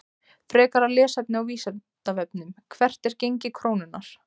Frekara lesefni á Vísindavefnum: Hvert er gengi krónunnar?